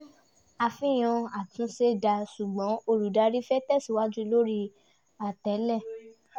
àfihàn àtúnṣe dáa ṣùgbọ́n olùdarí fẹ́ tẹ̀síwájú lórí àtẹ̀le